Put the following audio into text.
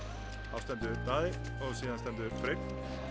þá stendur Daði og síðan stendur Freyr